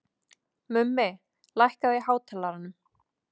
Mummi, lækkaðu í hátalaranum.